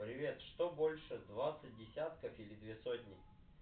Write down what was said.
привет что больше двадцать десятков или две сотни